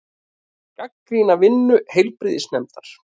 Gagnrýna vinnu heilbrigðisnefndar